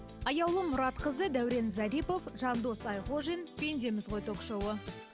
аяулым мұратқызы дәурен зарипов жандос айғожин пендеміз ғой ток шоуы